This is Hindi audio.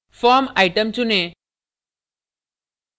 form item चुनें